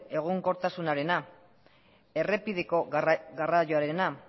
egonkortasunarena errepideko garraioarena